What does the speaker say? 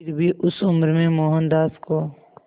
फिर भी उस उम्र में मोहनदास को